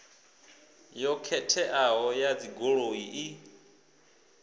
yo khetheaho ya dzigoloi i